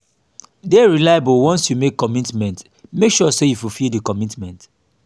de reliable once you make commitment make sure say you fulfil di commitment